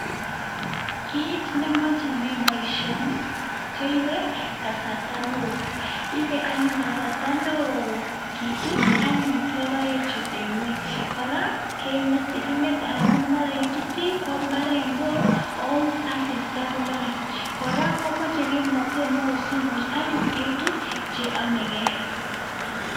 Kit nemachome boisioni ko koibei kasarta neo ibe anyun kasarta neo kitut anyun logoechu eng nguny kora kengetei, kengetei amu mara ituti mbaret neo ako asista kololei, kora komoche kimnatet neo simuch anyun itut che yomeigei.